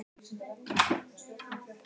Ég á hvert einasta plakat.